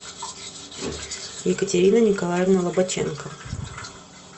екатерина николаевна лобаченко